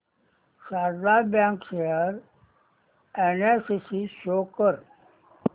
Sharda bank share analysis show कर